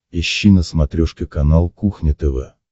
ищи на смотрешке канал кухня тв